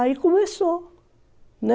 Aí começou, né?